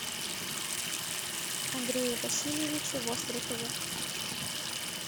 андрее васильевиче вострикове